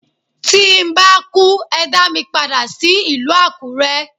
Tí n bá kú, ẹ dá mi padà sí ìlú Àkúrẹ́.